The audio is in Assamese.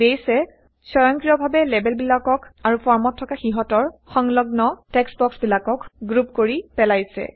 বেইছে স্বয়ংক্ৰিয়ভাৱে লেবেলবিলাকক আৰু ফৰ্মত থকা সিহঁতৰ সংলগ্ন টেক্সট বক্সবিলাকক গ্ৰুপ কৰি পেলাইছে